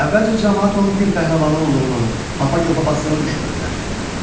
Əvvəlcə camaat onun dil pəhləvanı olduğunu, Hapaqofa basdığını düşünürdülər.